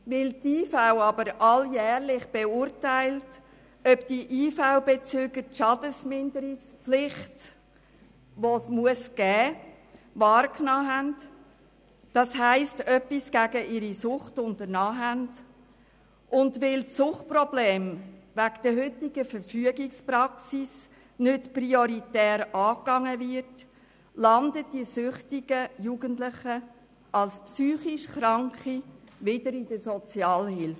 Weil die IV aber alljährlich beurteilt, ob die IV-Bezüger die vorgeschriebene Schadenminderungspflicht wahrnehmen, also etwas gegen ihre Sucht unternommen haben, und weil Suchtprobleme aufgrund der heutigen Verfügungspraxis nicht prioritär angegangen werden, landen die süchtigen Jugendlichen als psychisch Kranke wieder in der Sozialhilfe.